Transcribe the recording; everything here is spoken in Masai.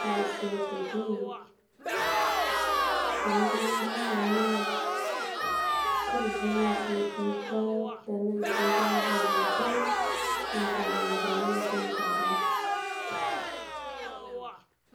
Kore sii aitokii tanajoo ng'uraa ana naa kore sii nwuesi etii paat tana etii lchambaa lenchee naa keeta ng'ojii namaatie nkaare.